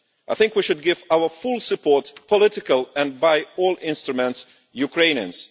I think we should give our full support political, and by all instruments to Ukrainians.